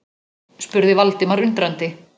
spurði Valdimar undrandi.